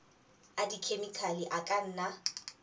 a dikhemikhale a ka nna